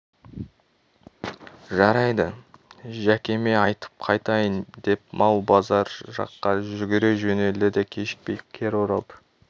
жарайды жәкеме айтып қайтайын деп мал базар жаққа жүгіре жөнелді де кешікпей кері оралды